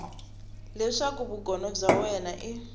leswaku vugono bya wena i